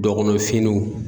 Dɔkɔnɔ finiw